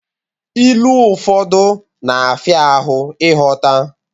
Ilu ụfọdụ na-afia ahụ ighọta.